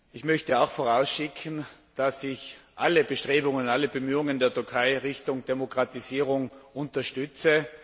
Ich möchte auch vorausschicken, dass ich alle Bestrebungen und alle Bemühungen der Türkei in Richtung Demokratisierung unterstütze.